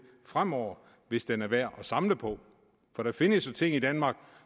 fremover hvis den er værd at samle på der findes jo ting i danmark